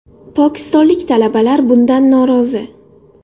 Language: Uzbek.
Pokistonlik talabalar bundan norozi.